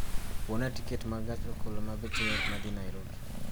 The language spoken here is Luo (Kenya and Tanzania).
Buona tiket ma gach okolomabech yot ma dhi Nairobi